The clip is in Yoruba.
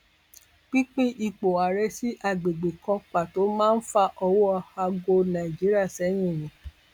pinpin ipò ààrẹ sí àgbègbè kan pàtó máa fa ọwọ aago nàìjíríà sẹyìn ni